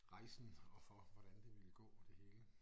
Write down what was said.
Rejsen og for hvordan det ville gå det hele